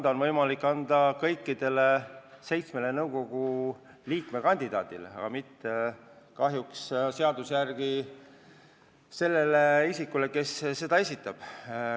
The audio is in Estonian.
Võib anda võimaluse esineda kõigile seitsmele nõukogu liikme kandidaadile, aga mitte kahjuks sellele isikule, kes nimekirja esitab.